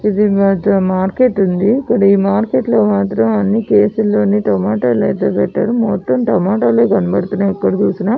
ఇక్కడ మార్కెట్ ఉంది ఈ మార్కెట్ లో మొత్తం ట్రెయ్స్ లో టొమాటోలు పెట్టారు మొత్తం టొమేటోలే కనబడుతున్నాయి --